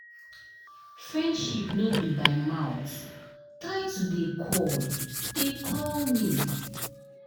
Friendship no be by mout, try to dey call dey call me.